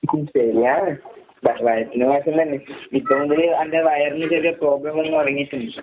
ഉം ശെരിയാണ്. വ വയറ്റിന് മോശം തന്നെ. ഇപ്പൊ മുതല് എന്റെ വയറിന് ചെറിയ പ്രോബ്ലം വന്ന് തൊടങ്ങീട്ട്ണ്ട്.